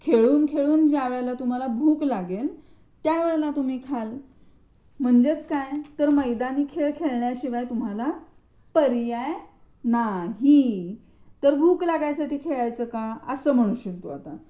खेळ खेळून ज्यावेळेला तुम्हाला भूक लागेल त्या वेळेला तुम्ही खाल म्हणजेक काय मैदानी खेळ खेळण्याचा शिवाय तुम्हाला पर्याय नाही तर भूक लागण्यासाठी खेळायचं का? असं म्हणशील तू आता.